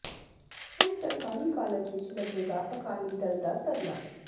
ਹੁਣ ਸਰਕਾਰੀ ਕਾਲਜ ਵਿੱਚ ਲੱਗੇਗਾ ਅਕਾਲੀ ਦਲ ਦਾ ਧਰਨਾ